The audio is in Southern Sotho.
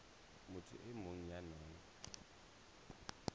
motho e mong ya nang